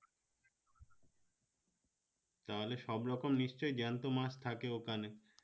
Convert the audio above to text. তাহলে সব রকম নিশ্চই জ্যান্ত মাছ থাকে ওখানে